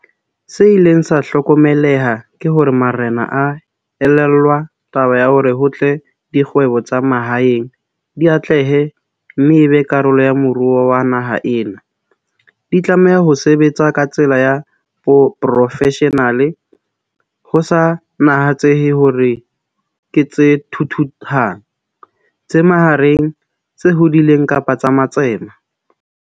Se ileng sa hlokomeleha ke hore marena a elellwa taba ya hore ho tle dikgwebo tsa mahaeng di atlehe mme e be karolo ya moruo wa naha ena, di tlameha ho sebetsa ka tsela ya profeshenale ho sa natsehe hore ke tse thuthuhang, tse mahareng, tse hodileng kapa tsa matsema.